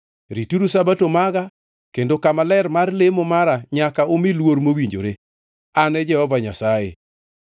“ ‘Rituru Sabato maga kendo kama ler mar lemo mara nyaka umi luor mowinjore. An e Jehova Nyasaye.